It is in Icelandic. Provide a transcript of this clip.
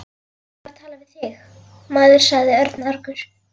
Ég var að tala við þig, maður sagði Örn argur.